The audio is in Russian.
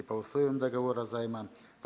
по условиям договора займа